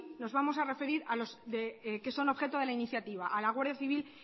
nos vamos a referir a los que son objeto de la iniciativa a la guardia civil